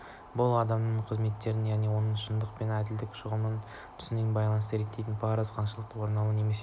бұл адамның қызметін оның ақиқат шындық пен әділдік жөніндегі ұғым-түсінігіне байланысты реттейтін парыздың қаншалықты орындалған немесе